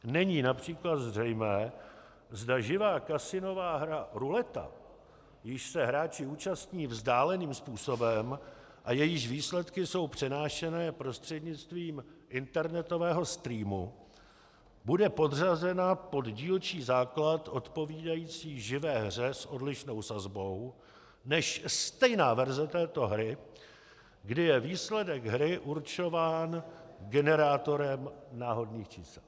Není například zřejmé, zda živá kasinová hra ruleta, jíž se hráči účastní vzdáleným způsobem a jejíž výsledky jsou přenášeny prostřednictvím internetového streamu, bude podřazena pod dílčí základ odpovídající živé hře s odlišnou sazbou než stejná verze této hry, kdy je výsledek hry určován generátorem náhodných čísel.